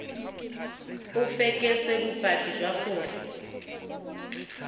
o fekese bopaki jwa gore